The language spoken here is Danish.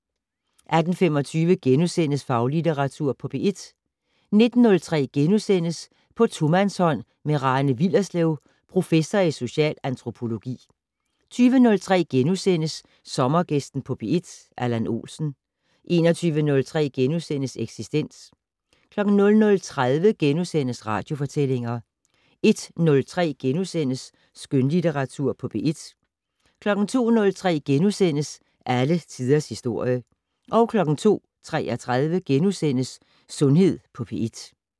18:25: Faglitteratur på P1 * 19:03: På tomandshånd med Rane Willerslev, prof. i social antropologi * 20:03: Sommergæsten på P1: Allan Olsen * 21:03: Eksistens * 00:30: Radiofortællinger * 01:03: Skønlitteratur på P1 * 02:03: Alle tiders historie * 02:33: Sundhed på P1 *